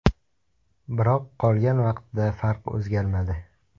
Biroq qolgan vaqtda farq o‘zgarmadi.